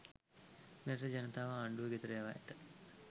මෙරට ජනතාව ආණ්ඩු ගෙදර යවා ඇත